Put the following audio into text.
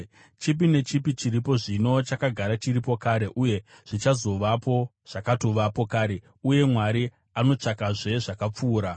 Chipi nechipi chiripo zvino, chakagara chiripo kare, uye zvichazovapo zvakatovapo kare; uye Mwari anotsvakazve zvakapfuura.